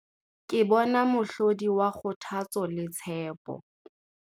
Ke bona mohlodi wa kgothatso le tshepo.